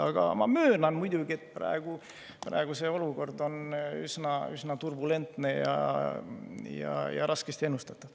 Aga ma möönan muidugi, et praegu on olukord üsna turbulentne ja raskesti ennustatav.